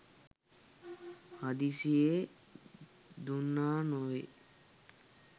හදිස්සියේ දුන්නා නෙවේ.